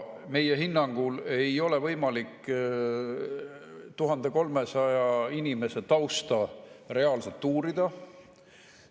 Meie hinnangul ei ole võimalik 1300 inimese tausta reaalselt uurida.